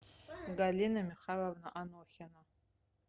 галина михайловна анохина